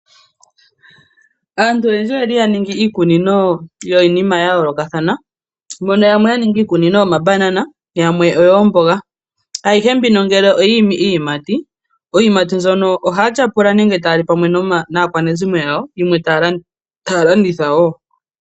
Aantu oyendji oyaningi iikunino yiinima yayoolokathana yamwe oyaninhi iikunino yomabanana yamwe oyoomboga. Ayihe mbino ngele oyiimi iiyimati, iiyimati mbyono ohaya tyapula nenge taya li naakwanezimo yawo yimwe taya landitha woo.